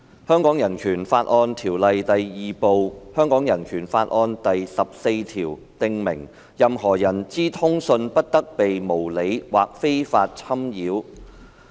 《香港人權法案條例》第 II 部第十四條訂明，任何人之通信不得被無理或非法侵擾。